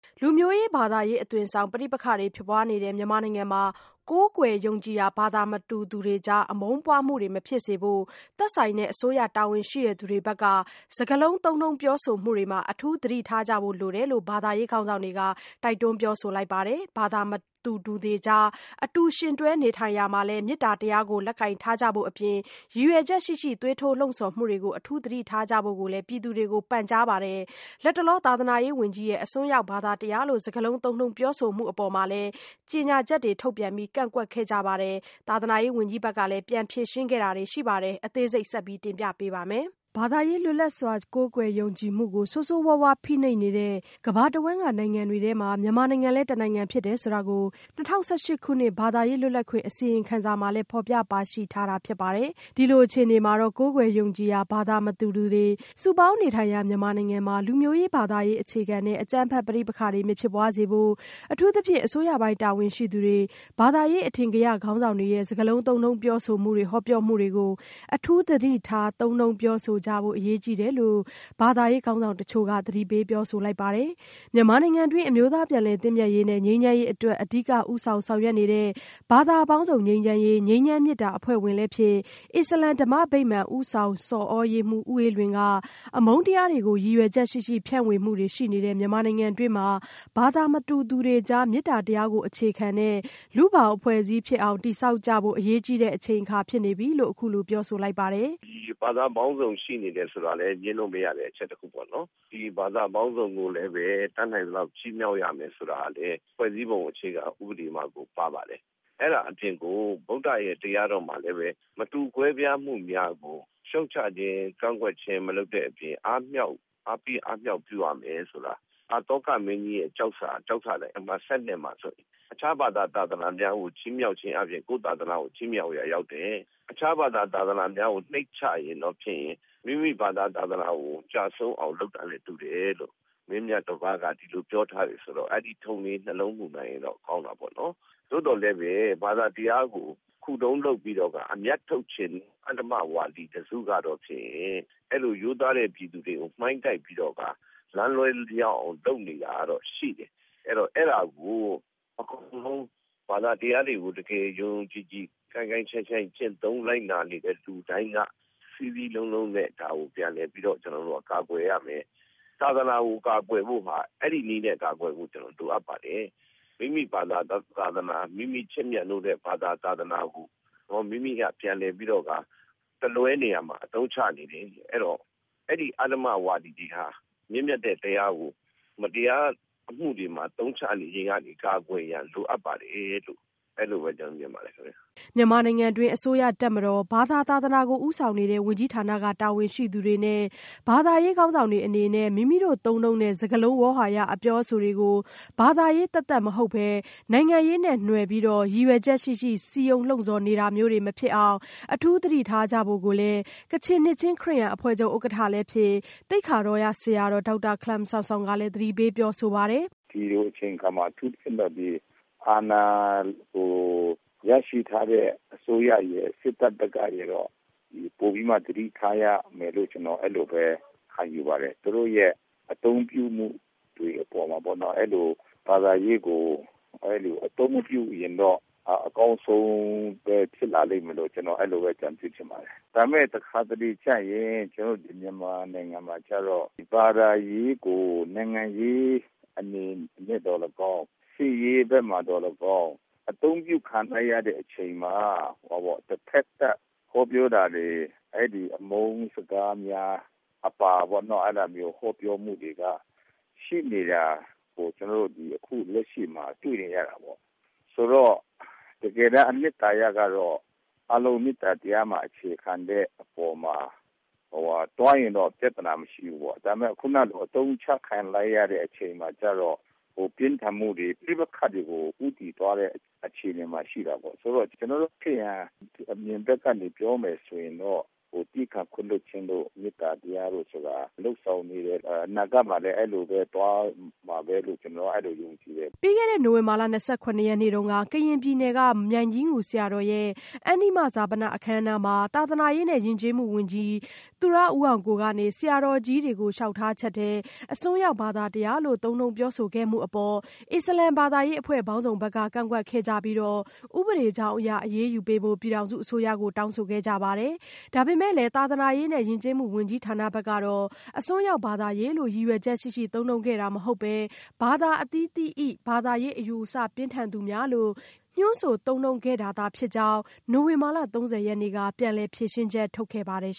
လူမျိုးရေး ဘာသာရေးအသွင်ဆောင် ပဋိပက္ခတွေ ဖြစ်ပွားနေတဲ့ မြန်မာနိုင်ငံမှာ ကိုးကွယ်ယုံကြည်ရာ ဘာသာမတူသူတွေကြား အမုန်းပွားမှုတွေမဖြစ်စေဖို့ သက်ဆိုင်တဲ့ အစိုးရတာဝန်ရှိသူတွေဘက်က စကားလုံး သုံးနှုန်းပြောဆိုမှုတွေမှာ အထူးသတိထားကြဖု့ိ လိုတယ်လို့ ဘာသာရေး ခေါင်းဆောင်တွေက တိုက်တွန်းပြောဆိုလိုက်ပါတယ်။ ဘာသာမတူသူတွေကြား အတူယှဉ်တွဲနေထိုင်ရာမှာ မေတ္တာတရား လက်ကိုင်ထားကြဖို့ အပြင် ရည်ရွယ်ချက်ရှိရှိ သွေးထိုးလှုံ့ဆော်မှုတွေကို အထူးသတိထားကြဖို့ကိုလည်း ပြည်သူတွေကို ပန်ကြားပါတယ်။ လတ်တလော သာသနာရေးဝန်ကြီးရဲ့ အစွမ်းရောက်ဘာသာတရားလို့ စကားလုံး သုံးနှုန်းပြောဆိုမှုအပေါ် ကြေညာချက်တွေ ထုတ်ပြန်ပြီးလည်း ကန့်ကွက်ခဲ့ကြသလို သာသနာရေးဝန်ကြီးဌာနဘက်ကလည်း ပြန်လည် ဖြေရှင်းခဲ့ကြရတာလည်းရှိနေပါတယ်။ အသေးစိတ် မဆုမွန် စုစည်းတင်ပြထားပါတယ်။ ဘာသာရေးလွတ်လပ်စွာကိုးကွယ်ယုံကြည်မှုကို ဆိုးဆိုးရွားရွား ဖိနှိပ်နေတဲ့ ကမ္ဘာတဝှမ်းကနိုင်ငံတွေထဲမှာ မြန်မာနိုင်ငံလည်း တနိုင်ငံဖြစ်တယ်ဆိုတာကို ၂၀၁၈ ခုနှစ် ဘာသာရေး လွတ်လပ်ခွင့် အစီရင်ခံစာမှာလည်း ဖော်ပြပါရှိထားတာဖြစ်ပါတယ်။ ဒီလိုအခြေအနေမှာ ကိုးကွယ်ယုံကြည်ရာဘာသာမတူတွေ စုပေါင်းနေထိုင်ရာ မြန်မာနိုင်ငံမှာ လူမျိုးရေး-ဘာသာရေးအခြေခံတဲ့ အကြမ်းဖက်ပဋိပက္ခတွေ မဖြစ်ပွားစေဖို့ အထူးသဖြင့် အစိုးရပိုင်းတာဝန်ရှိသူတွေ၊ ဘာသာရေးအထင်ကရခေါင်းဆောင်တွေရဲ့ စကားလုံးသုံးနှုန်းပြောဆိုမှုတွေ ဟောပြောမှုတွေကို အထူးသတိထားသုံးနှုန်းပြောဆိုကြဖို့ အရေးကြီးတယ်လို့ ဘာသာရေး ခေါင်းဆောင်တချို့က သတိပေးပြောဆိုလိုက်ပါတယ်။ မြန်မာနိုင်ငံတွင်း အမျိုးသားပြန်လည်သင့်မြတ်ရေးနှင့် ငြိမ်းချမ်းရေးအတွက် အဓိကဦးဆောင် ဆောင်ရွက်နေတဲ့ ဘာသာပေါင်းစုံ ငြိမ်းချမ်းရေး အဖွဲ့ဝင်လည်းဖြစ် အစ္စလာမ်ဓမ္မဗိမာန် ဦးဆောင်ဆော်သြရေးမှူး ဦးအေးလွင်က အမုန်းတရားတွေ ကို ရည်ရွယ်ချက်ရှိရှိဖြန့်ဝေမှုတွေရှိနေတဲ့ မြန်မာနိုင်ငံတွင်း ဘာသာမတူသူတွေကြား မေတ္တာတရားကိုအခြေခံတဲ့ လူ့ဘောင်အဖွဲ့အစည်းဖြစ်အောင် တည်ဆောက်ကြဖို့ အရေးကြီးတဲ့အချိန်ဖြစ်နေပြီလို့ အခုလိုပြောဆိုလိုက်ပါတယ်။ "ဒီဘာသာပေါင်းစုံ ရှိနေတာကလည်း ငြင်းလို့မရတဲ့အချက်ပေါ့နော် ဒီဘာသာပေါင်းစုံကိုလည်းပဲ တတ်နိုင်သလောက် ချီးမြှောက်ရမယ်ဆိုတာကလည်း ဖွဲ့စည်းပုံအခြေခံဥပဒေမှာကို ပါပါတယ်။ အဲ့တာအပြင် ဗုဒ္ဓရဲ့ ဘာသာတရားတော်မှာလည်းပဲ မတူကွဲပြားမှုများကို ရှုတ်ချခြင်း ကန့်ကွက်ခြင်း မလုပ်တတ်အပြင် အားပေးအားမြှောက်ပြုရမယ် ဆိုတာ အသောကမင်းကြီးရဲ့ ကျောက်စာတိုင် အမှတ် မှာ တခြားသာသနာကို ချီးမြှောက်ခြင်းအားဖြင့် ကိုယ့်သာသနာကို ချီးမြှောက်ရာ ရောက်တယ် တခြားသာသနာများကို နှိမ့်ချရင်တော့ဖြင့် မိမိဘာသာသသနာကို ကျဆုံးအောင် လုပ်တာနဲ့တူတယ်လို့ မင်းမြတ်တပါးက ပြောထားတယ်ဆိုတော့ အဲ့ဒီ့ထုံးလေး နှလုံးမူနိုင်ရင်တော့ ကောင်းတာပေါ့နော်။ သို့သော်လည်းပဲ ဘာသာတရား ခုတုံးလုပ်ပြီးတော့ အမြတ်ထုတ်ခြင်း အဓမ္မဝါဒီတစုကတော့ဖြင့်ရင် အဲ့လိုရိုးသားတဲ့ပြည်သူတွေကို မှိုင်းတိုက်ပြီးတော့ကာ လမ်းလွှဲရောက်အောင် လုပ်နေတာကတော့ ရှိတယ် အဲ့တော့ အဲ့တာကို အကုန်လုံး ဘာသာတရားတွေကို တကယ် ယုံယုံကြည်ကြည် ကိုင်းကိုင်းရှိုင်းရှိုင်း ကျင့်သုံးလိုက်နာနေတဲ့ သူတိုင်းက စည်းစည်းလုံးလုံးနဲ့ ဒါကို ပြန်လည်ပြီးတော့ ကာကွယ်ရမယ်။ သာသနာကို ကာကွယ်ဖို့ရတာ အဲ့ဒီ့နည်းနဲ့ကာကွယ်ဖို့ လိုအပ်ပါတယ်။ မိမိဘာသာ သာသနာ မိမိချစ်မြတ်နိုးတဲ့ ဘာသာ သာသနာကို မိမိက ပြန်လည်ပြီးတော့ကာ တလွဲနေရာမှာ အသုံးချနေတဲ့ အဲ့ဒီ့အဓမ္မဝါဒီတွေဟာ မြင့်မြတ်တဲ့တရားကို မတရားအမှုတွေကို အသုံးချနေခြင်းက ကာကွယ်ရန်လိုအပ်ပါတယ်လို့ ကျနော်ကတော့ အဲ့လိုပဲ မြင်ပါတယ်ခင်ဗျ။" မြန်မာနိုင်ငံတွင်းက အစိုးရ၊ တပ်မတော်၊ ဘာသာသာသနာကို ဦးဆောင်နေတဲ့ ဝန်ကြီးဌာနက တာဝန်ရှိသူတွေနဲ့ ဘာသာရေးခေါင်းဆောင်တွေအနေနဲ့ မိမိတို့သုံးနှုန်းတဲ့ စကားလုံး ဝေါဟာရ အပြောအဆိုတွေကို ဘာသာရေးသက်သက်မဟုတ်ပဲ နိုင်ငံရေးနဲ့ နွယ်ပြီး ရည်ရွယ်ချက်ရှိရှိ စည်းရုံးလှုံ့ဆော်နေတာမျိုးတွေ မဖြစ်အောင် အထူးသတိထားကြဖို့ကိုလည်း ကချင်နှစ်ခြင်းခရစ်ယာန်အဖွဲ့ချုပ်ဥက္ကဋ္ဌလည်းဖြစ် သိက္ခာတော်ဆရာတော် ဒေါက်တာ Hkalam Samsom ကလည်း သတိပေးပြောဆိုပါတယ်။ "ဒီလိုအချိန်အခါမှာ အထူးသဖြင့်တော့ အာဏာကို ရရှိထားတဲ့ အစိုးရရယ်၊ စစ်တပ်ကရယ်ကိုပိုပြီးမှ သတထားရမယ်လို့ ကျနော် အဲလိုပဲ ခံယူပါတယ်။ သူတို့ရဲ့အသုံးပြုမှုတွေအပေါ်မှာ အဲဒီလိုဘာသာရေးကို အသုံးပြုမပြုရင်တော့ အကောင်းဆုံးပဲ ဖြစ်လာလိမ့်မယ်လို့ အကြံပြုချင်ပါတယ်။ ဒါပေမယ့် တခါတလေကျရင် ကျနော်တို့ မြန်မာနိုင်ငံမှာကျတော့ ဘာသာရေးကို နိုင်ငံရေးအနေနဲ့သော်လည်းကောင်း၊ စစ်ရေးအနေနဲ့သော်လည်းကောင်း အသုံးပြုခံလိုက်ရတဲ့အချိန်မှာ တဘက်သတ် ဟောပြောတာတွေ၊ အဲဒီ အမုန်းစကားများအပါပေါ့နော- အဲဒီ ဟောပြောတာတွေက ရှိနေတာကို ကျနော်တို့ အခု လက်ရှိမှာ တွေ့နေရတာပေါ့။...ဆိုတော့ တကယ်တန်း အနှစ်သာရကတော့ အားလုံး မေတ္တာတရားမှာ အခြေခံတဲ့အပေါ်မှာ သွားရင်တော့ ပြဿနာမရှိဘူးပေါ့။ ဒါပေမယ့် အခုနလို အသုံးချခံလိုက်ရတဲ့ အချိန်မှာကျတော့ ပြင်းထန်မှုတွေ၊ ပဋိပက္ခတွေကို ဦးတည်သွားတဲ့ အခြေအနေမှာရှိတာပေါ့။ -ဆိုတော့ ကျနော်တို့ ခရစ်ယာန်ဘက်က အမြင်ကို ပြောမယ်ဆိုရင်တော့ သည်းခံခွင့်လွှတ်ခြင်းတို့၊ မေတ္တာတရားတို့ဆိုတာ လုပ်ဆောင်နေတယ်၊ အနာဂတ်မှာလည်း အဲလိုပဲသွားမှာပဲလို့ ကျနော်က အဲလို ယုံကြည်တယ်။" ပြီးခဲ့တဲ့ နိုဝင်ဘာလ ၂၇ရက်နေ့က ကရင်ပြည်နယ် မြိုင်ကြီးငူဆရာတော်ရဲ့ အန္တိမဈာပနအခမ်းအနားမှာ သာသနာရေးနဲ့ ယဉ်ကျေးမှုဝန်ကြီး သူရဦးအောင်ကိုက ဆရာတော်ကြီးတွေကို လျှောက်ထားချက်ထဲ အစွန်းရောက်ဘာသာတရားလို့ သုံးနှုန်းပြောဆိုခဲ့မှုအပေါ် အစ္စလာမ်ဘာသာရေးအဖွဲ့အစည်းပေါင်းစုံက ကန့်ကွက်ခဲ့ကြပြီး ဥပဒေကြောင်းအရ အရေးယူပေးဖို့ ပြည်ထောင်စုအစိုးရကို တောင်းဆိုခဲ့ကြပါတယ်။ ဒါပေမဲ့လည်း သာသနာရေးနဲ့ ယဉ်ကျေးမှုဝန်ကြီးဌာနဘက်က အစွန်းရောက်ဘာသာရေးလို့ ရည်ရွယ်ချက်ရှိရှိ သုံးနှုန်းခဲ့တာမဟုတ်ဘဲ ဘာသာအသီးသီး၏ ဘာသာရေးအယူအဆပြင်းထန်သူများလို့ ညွှန်းဆိုသုံးနှုန်းခဲ့တာသာဖြစ်ကြောင်း နိုဝင်ဘာလ ၃၀ ရက်နေ့က ပြန်လည်ဖြေရှင်းချက် ထုတ်ခဲ့ပါတယ်